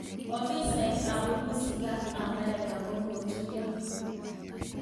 Ofisaek ap urusi ak amerika kokotuyan